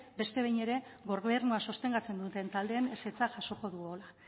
beste behin ere gobernua sostengatzen duten taldeen ezetza jasoko dugula